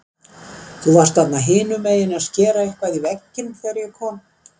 Þú varst þarna hinumegin að skera eitthvað í vegginn þegar ég kom.